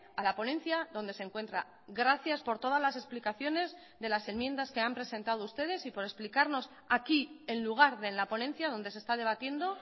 a la ponencia donde se encuentra gracias por todas las explicaciones de las enmiendas que han presentado ustedes y por explicarnos aquí en lugar de en la ponencia donde se está debatiendo